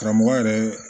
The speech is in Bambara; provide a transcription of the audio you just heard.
Karamɔgɔ yɛrɛ